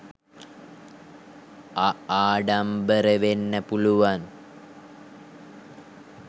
අආඩම්බර වෙන්න පුළුවන්